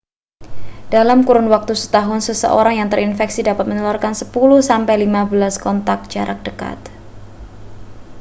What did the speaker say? dalam kurun waktu setahun seseorang yang terinfeksi dapat menularkan 10 sampai 15 kontak jarak dekat